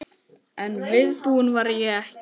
En viðbúin var ég ekki.